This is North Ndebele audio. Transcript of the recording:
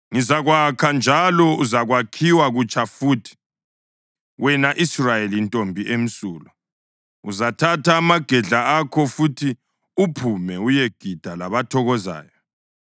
Ngizakwakha njalo uzakwakhiwa kutsha futhi, wena Israyeli Ntombi emsulwa. Uzathatha amagedla akho futhi uphume uyegida labathokozayo.